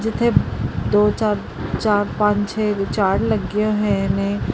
ਇੱਥੇ ਦੋ ਚਾਰ ਚਾਰ ਪੰਜ ਛੇ ਝਾੜ ਲੱਗੇ ਹੋਏ ਨੇ।